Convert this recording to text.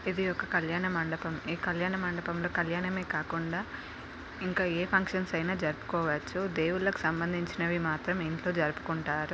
ఇది ఒక కళ్యాణ మండపం. ఈ కళ్యాణ మండపంలో కళ్యాణమే కాకుండా ఇంకా ఏ ఫంక్షన్స్ అయినా జరు.పుకోవచ్చు. దేవుళ్లకు సంబంధించినవి మాత్రం ఇంట్లో జరు.పుకుంటారు..